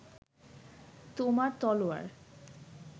তোমার তলোয়ার